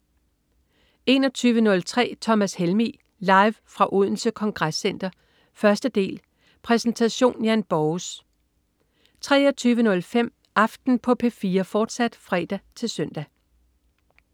21.03 Thomas Helmig. Live fra Odense Congress Center, 1. del. Præsentation: Jan Borges 23.05 Aften på P4, fortsat (fre-søn)